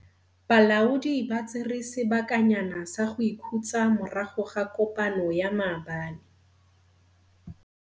Balaodi ba tsere sebakanyana sa go ikhutsa morago ga kopano ya maabane.